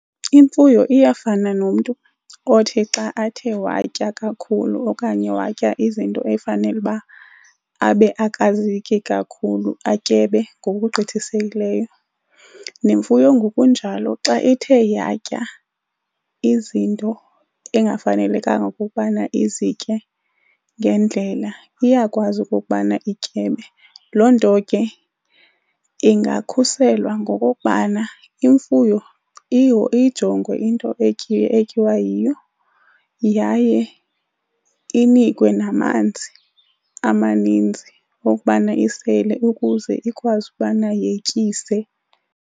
Imfuyo iyafana nomntu othi xa athe watya kakhulu okanye watya izinto efanele uba abe akazityi kakhulu atyebe ngokugqithisileyo. Nemfuyo ngokunjalo xa ithe yatya izinto engafanelekanga ukubana izitye ngendlela iyakwazi okokubana ityebe. Loo nto ke ingakhuselwa ngokokubana imfuyo iyijongwe into etyiwa yiyo yaye inikwe namanzi amaninzi okokubana isele ukuze ikwazi ukubana yetyise.